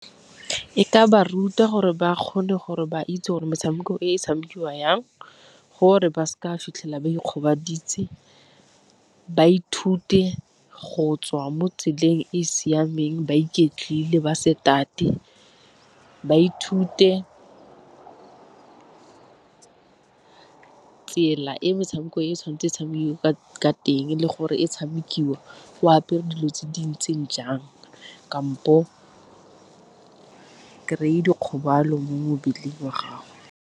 E ka ba ruta gore ba kgone gore ba itse gore metshameko e tshamekiwa jang, gore ba seke ba fitlhela ba ikgobaditse, ba ithute go tswa mo tseleng e e siameng ba iketlile ba se tate, ba ithute tsela e metshameko e tshwanetse e tshamekiwe ka teng le gore e tshamekiwa o apere dilo tse di ntseng jang kampo kry-e dikgobalo mo mmeleng wa gago.